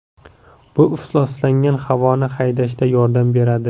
Bu ifloslangan havoni haydashda yordam beradi.